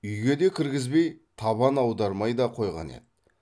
үйге де кіргізбей табан аудармай да қойған еді